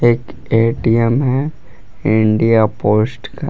एक ए_टी_एम है India Post का।